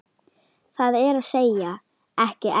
Það er að segja, ekki enn.